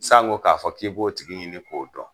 San ko k'a fɔ k'i b'o tigi ɲini k'o dɔn.